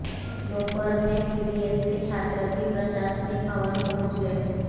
दोपहर में बीडीएस के छात्र भी प्रशासनिक भवन पहुंच गए